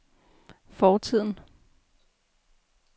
fortiden